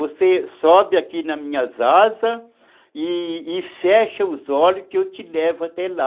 Você sobe aqui nas minhas asas e e fecha os olhos que eu te levo até lá.